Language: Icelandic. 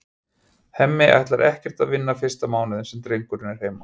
Hemmi ætlar ekkert að vinna fyrsta mánuðinn sem drengurinn er heima.